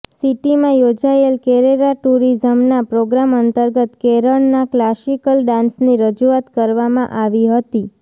સિટીમાં યોજાયેલ કેરેલા ટૂરિઝમનાં પ્રોગ્રામ અંતર્ગત કેરળનાં ક્લાસિકલ ડાન્સની રજૂઆત કરવામાં આવી હતી